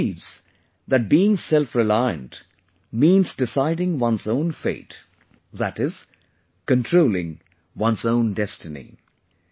He believes that being selfreliant means deciding one's own fate, that is controlling one's own destiny